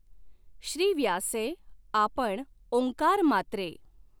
श्रीव्यासें आपण ॐकारमात्रें।